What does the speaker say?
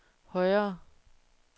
højere